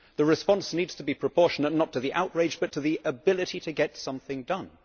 The response needs to be proportionate not to the outrage, but to the ability to get something done.